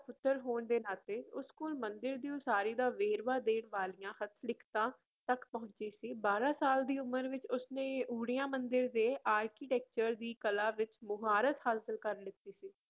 ਪੁੱਤਰ ਹੋਣ ਦੇ ਨਾਤੇ ਉਸ ਕੋਲ ਮੰਦਿਰ ਦੀ ਉਸਾਰੀ ਦਾ ਵੇਰਵਾ ਦੇਣ ਵਾਲੀਆਂ ਹੱਥ ਲਿਖਤਾਂ ਤੱਕ ਪਹੁੰਚ ਸੀ, ਬਾਰਾਂ ਸਾਲ ਦੀ ਉਮਰ ਵਿੱਚ ਉਸਨੇ ਊੜੀਆ ਮੰਦਿਰ ਦੇ architecture ਦੀ ਕਲਾ ਵਿੱਚ ਮੁਹਾਰਤ ਹਾਸਿਲ ਕਰ ਲਿੱਤੀ ਸੀ ।